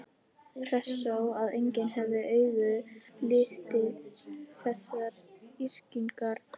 Hressó að enginn hefði augum litið þessar yrkingar hans?